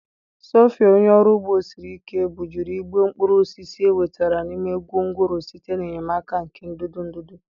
sophia, onye ọrụ ugbo siri ike, bujuru igbe mkpụrụ osisi e wetara n'ime gwongworo site n'enyemaka nke ndụdụ ndụdụ.